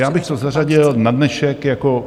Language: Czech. Já bych to zařadil na dnešek jako...